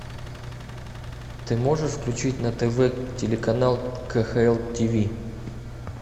ты можешь включить на тв телеканал кхл тв